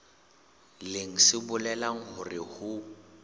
leng se bolelang hore ho